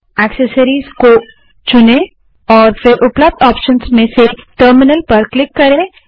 accessories को चुनें और फिर उपलब्ध ऑप्शन से टर्मिनल पर क्लिक करें